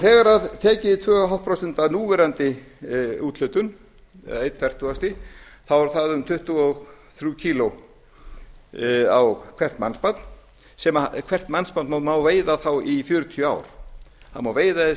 þegar tekið er tvö og hálft prósent af núverandi úthlutun eða eins fertugasti þá er það um tuttugu og þrjú kíló á hvert mannsbarn hvert mannsbarn má veiða þá í fjörutíu ár það má veiða tvö